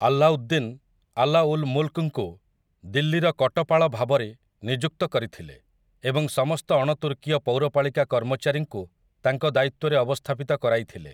ଆଲ୍ଲାଉଦ୍ଦିନ୍, ଆଲା ଉଲ୍ ମୁଲ୍‌କ୍‌ଙ୍କୁ ଦିଲ୍ଲୀର କଟପାଳ ଭାବରେ ନିଯୁକ୍ତ କରିଥିଲେ ଏବଂ ସମସ୍ତ ଅଣତୁର୍କୀୟ ପୌରପାଳିକା କର୍ମଚାରୀଙ୍କୁ ତାଙ୍କ ଦାୟିତ୍ୱରେ ଅବସ୍ଥାପିତ କରାଇଥିଲେ ।